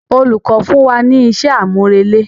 Olùkọ fún wa ní isé àmúrelé.